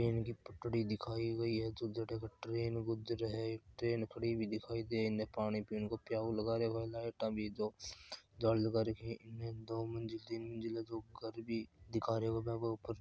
ट्रैन की पटड़ी दिखाई गयी है जो जड़े के ट्रैन जुगरे हैट्रैन खड़ी हुई दिखाई दे इन पानी पीण को प्याऊ भी लगा रखे हैं लाइट भी है दो इने दो मंजिल तीन मंजिल जो घर भी दिख रहे हो ऊपर --